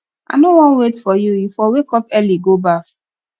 i no wan wait for you you for wake up early go baff